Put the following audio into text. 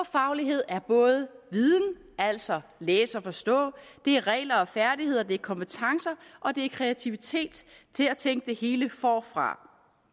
faglighed er både viden altså at læse og forstå det er regler og færdigheder det er kompetencer og det er kreativitet til at tænke det hele forfra